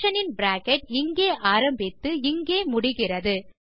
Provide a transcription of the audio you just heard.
function இன் bracket இங்கே ஆரம்பித்து இங்கே முடிகிறது